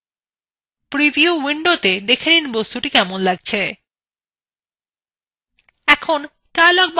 এখন dialogbox উপরের ডান দিকের কনা থেকে এসাইনআইকনএ click করুন